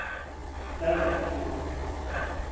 langepitori